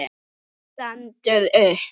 Hann stendur upp.